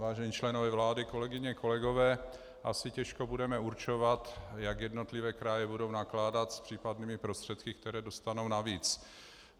Vážení členové vlády, kolegyně, kolegové, asi těžko budeme určovat, jak jednotlivé kraje budou nakládat s případnými prostředky, které dostanou navíc.